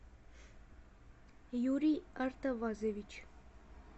юрий артавазович